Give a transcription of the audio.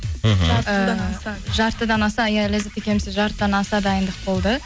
мхм жарты жылдан аса жартыдан аса иә ләззат екеумізде жартыдан аса дайындық болды